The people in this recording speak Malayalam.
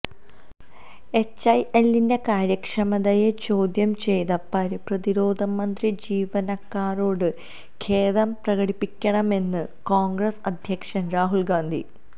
എച്ച്എഎല്ലിന്റെ കാര്യക്ഷമതയെ ചോദ്യം ചെയ്ത പ്രതിരോധമന്ത്രി ജീവനക്കാരോട് ഖേദം പ്രകടിപ്പിക്കണമെന്ന് കോൺഗ്രസ് അധ്യക്ഷൻ രാഹുൽ ഗാന്ധി